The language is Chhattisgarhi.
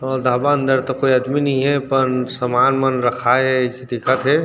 रोज ढाबा अंदर तो कोई आदमी नई हे पर समान मन रखाए हे अइसे दिखा थे।